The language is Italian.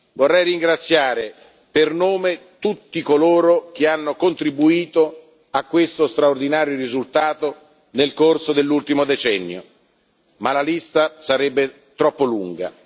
Vorrei ringraziare per nome tutti coloro che hanno contribuito a questo straordinario risultato nel corso dell'ultimo decennio, ma la lista sarebbe troppo lunga.